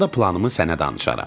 Onda planımı sənə danışaram.